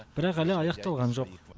бірақ әлі аяқталған жоқ